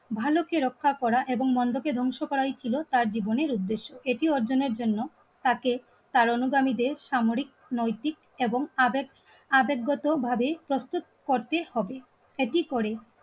ভালোকে রক্ষা করা এবং মন্দকে ধ্বংস করাই ছিল তার জীবনের উদ্দেশ্য. এটি অর্জনের জন্য তাকে তার অনুগামীদের সামরিক নৈতিক এবং তাদের আবেগগত ভাবেই প্রস্তুত করতে হবে. একই করে